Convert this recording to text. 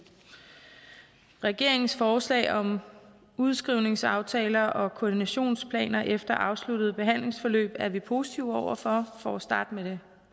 regeringens forslag om udskrivningsaftaler og koordinationsplaner efter afsluttet behandlingsforløb er vi positive over for for at starte med det